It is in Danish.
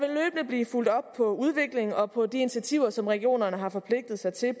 blive fulgt op på udviklingen og på de initiativer som regionerne har forpligtet sig til